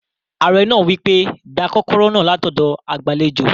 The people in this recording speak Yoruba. Ààrẹ náà wí pé, "gba kọ́kọ́rọ́ náà látọ̀dọ̀ agbàlejò